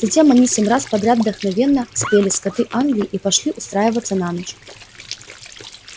затем они семь раз подряд вдохновенно спели скоты англии и пошли устраиваться на ночь